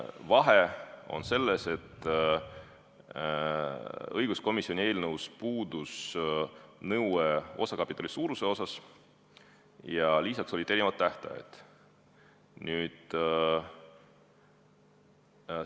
Vahe on selles, et õiguskomisjoni eelnõus puudus nõue osakapitali suuruse kohta ja lisaks olid määramata tähtajad.